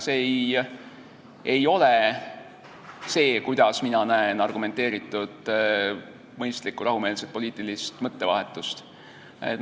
See ei ole see, kuidas mina näen argumenteeritud, mõistlikku ja rahumeelset poliitilist mõttevahetust.